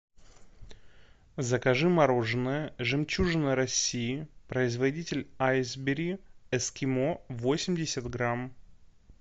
закажи мороженое жемчужина россии производитель айсберри эскимо восемьдесят грамм